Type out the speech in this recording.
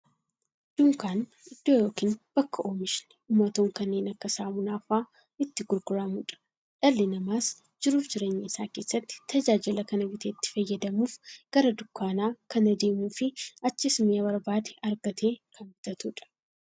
Dunkaanni iddoo yookiin bakka oomishni dhumatoon kanneen akka saamunaa faa'a itti gurguramuudha. Dhalli namaas jiruuf jireenya isaa keessatti, tajaajila kana bitee itti fayyadamuuf, gara dunkaanaa kan deemuufi achiis mi'a barbaade argatee kan bitatuudha.